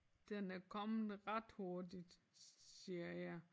Den er kommet ret hurtigt siger jeg